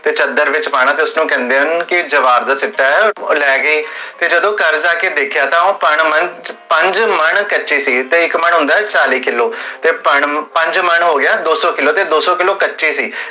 ਤੇ ਚੱਦਰ ਵਿਚ ਪਾਨਾ ਤੇ ਉਸਨੁ ਕਹੰਦੇ ਹਨ ਕੇ ਜਵਾਰ ਦਾ ਚਿੱਟੇ, ਓਹ ਲੈ ਗਏ, ਤੇ ਜਦੋ ਘਰ ਜਾ ਕੇ ਦੇਖਿਆ, ਤਾ ਓਹ ਪੰਜ ਮਨ ਕਚੀ ਸੀ, ਤੇ ਇਕ ਮਨ ਹੁੰਦੇ ਚਾਲੀ ਕਿੱਲੋ, ਤੇ ਪੰਜ ਮਨ ਹੁੰਦੇ ਦੋ ਸੋ ਕਿੱਲੋ ਦੋ ਸੋ ਕਿੱਲੋ ਕਚੇ ਸੀ